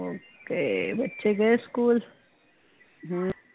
okay ਬਚੇ ਗਏ school